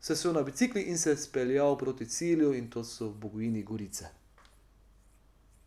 se usedel na bicikel in se speljal proti cilju, in to so v Bogojini Gorice.